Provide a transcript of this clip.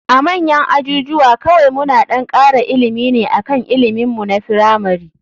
A manyan ajujuwa kawai muna ɗan kara ilimi ne akan ilimin mu na firamari.